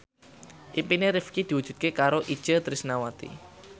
impine Rifqi diwujudke karo Itje Tresnawati